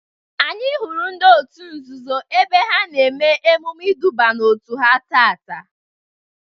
Anyị hụrụ ndị otu nzuzo ebe ha na eme emume iduba n'otu ha taata.